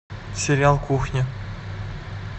сериал кухня